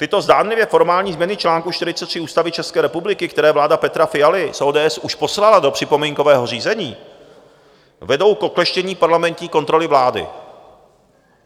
Tyto zdánlivě formální změny článku 43 Ústavy České republiky, které vláda Petra Fialy z ODS už poslala do připomínkového řízení, vedou k okleštění parlamentní kontroly vlády.